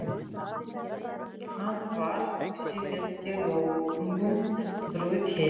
Hann var hugsi, velti vöngum, braut heilann.